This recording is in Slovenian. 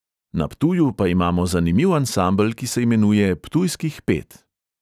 Na ptuju pa imamo zanimiv ansambel, ki se imenuje ptujskih pet.